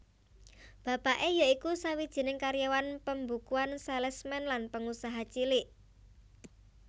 Bapake ya iku sawijining karyawan pembukuan salesman lan pengusaha cilik